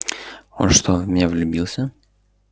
он что в меня влюбился